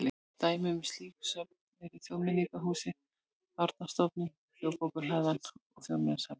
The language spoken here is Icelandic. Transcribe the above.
Dæmi um slík söfn eru Þjóðmenningarhúsið, Árnastofnun, Þjóðarbókhlaðan og Þjóðminjasafnið.